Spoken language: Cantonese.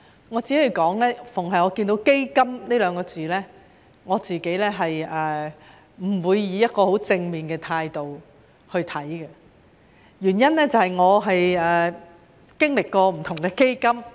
我每逢看到"基金"這兩個字，也不會以一個十分正面的態度看待，原因是我經歷過不同的基金。